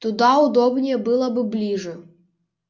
туда удобнее было бы ближе